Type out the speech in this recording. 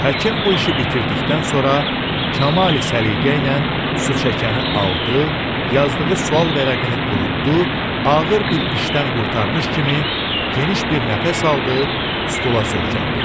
Həkim bu işi bitirdikdən sonra kamali səliqə ilə su çəkəni aldı, yazdığı sual vərəqini qurutdu, ağır bir işdən qurtarmış kimi geniş bir nəfəs aldı, stula söykəndi.